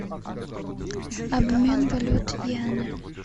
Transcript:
обмен валют йены